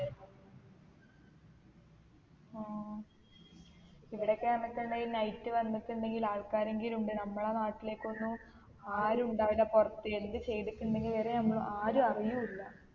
ആഹ് ഇവിടൊക്കെ ആന്നുട്ടുണ്ടെൽ night വന്നുട്ടുണ്ടെങ്കിൽ ആൾകാരെങ്കിലുമുണ്ട് നമ്മളെ നാട്ടിലേക്കൊന്നും ആരും ഇണ്ടാവൂല പൊറത്ത് എന്ത് ചെയ്തിക്കുണ്ടെങ്കിൽ വരെ നമ്മൾ ആരു അറിയു ഇല്ല